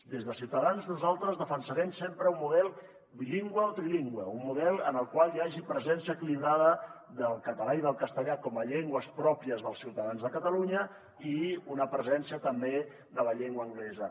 des de ciutadans nosaltres defensarem sempre un model bilingüe o trilingüe un model en el qual hi hagi presència equilibrada del català i del castellà com a llengües pròpies dels ciutadans de catalunya i una presència també de la llengua anglesa